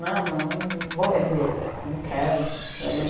Não, não vou vender, não quero.